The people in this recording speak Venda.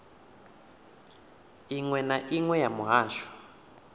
iṅwe na iṅwe ya muhasho